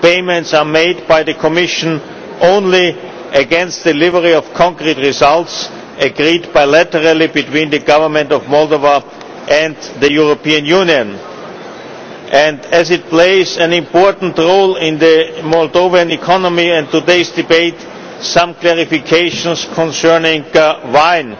Payments are made by the Commission only against delivery of concrete results agreed bilaterally between the Government of Moldova and the European Union. As it plays an important role in the Moldovan economy and today's debate, some clarifications concerning wine.